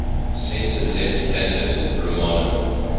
centre left candidate romano